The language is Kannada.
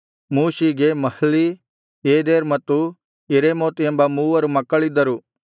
ಮೂಷೀಗೆ ಮಹ್ಲೀ ಏದೆರ್ ಮತ್ತು ಯೆರೇಮೋತ್ ಎಂಬ ಮೂವರು ಮಕ್ಕಳಿದ್ದರು